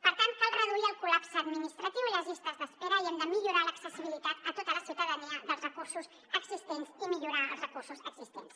per tant cal reduir el col·lapse administratiu i les llistes d’espera i hem de millorar l’accessibilitat a tota la ciutadania dels recursos existents i millorar els recursos existents